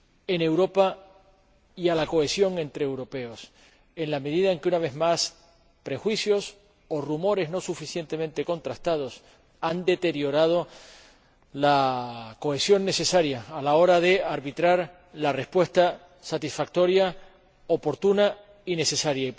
en Europa y a la cohesión entre europeos, en la medida en que, una vez más, prejuicios o rumores no suficientemente contrastados han deteriorado la cohesión necesaria a la hora de arbitrar la respuesta satisfactoria, oportuna y necesaria.